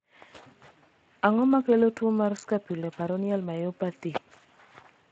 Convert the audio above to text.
ang'o makelo tuo mar scapuloperoneal myopathy?